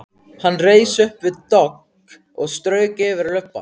Hann reis upp við dogg og strauk yfir lubbann.